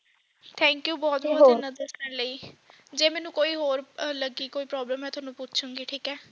thank you ਬਹੁਤ ਬਹੁਤ ਗਲਾਂ ਦੱਸਣ ਲਈ ਜੇ ਮੈਨੂੰ ਕੋਈ ਹੋਰ ਲੱਗੀ ਕੋਈ problem ਮੈਂ ਤੁਹਾਨੂੰ ਪੁੱਛੂੰਗੀ ਠੀਕ ਹੈ